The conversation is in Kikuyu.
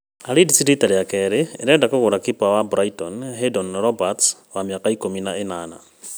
Leeds rita rĩa kerĩ ĩrenda kũgũra kipa wa Brighton Haydon Roberts, wa mĩaka ikũmi na ĩnana